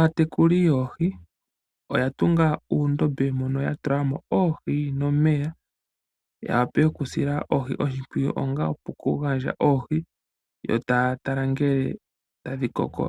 Aatekuli yoohi oya tunga uundombe mo no ya tula mo oohi nomeya, yawape okusila oohi oshipwiyu onga okugandja oohi, yo ta ya tala ngele ota dhi koko